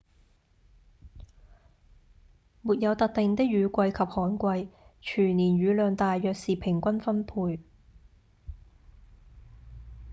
沒有特定的「雨季」及「旱季」全年雨量大約是平均分配